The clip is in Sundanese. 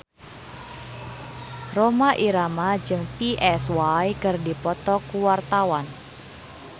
Rhoma Irama jeung Psy keur dipoto ku wartawan